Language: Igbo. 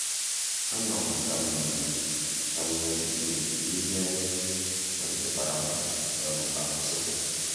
anọ m m n’etiti ihe ma i chetara m ka m kwụsịtu.